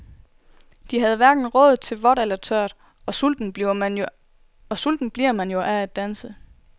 De havde hverken råd til vådt eller tørt, og sulten bliver man jo af at danse.